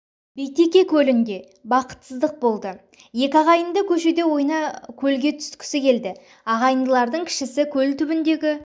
битеке көлінде бақытсыздық болды екі ағайынды көшеде ойна көлге түсткісі келді ағайындылардың кішісі көл түбіндегі